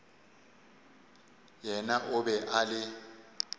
yena o be a le